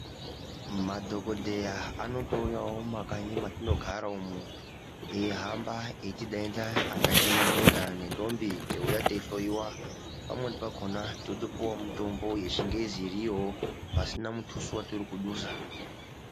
Madhokodheya anotouyawo mumakanyi matinogara umu eihamba echidaidza akaita madhodha nendombi teiuya teihloiwa pamweni pakona wotopuwa mutombo wechingezi ichiriyo pasina mutuso watiri kudusa.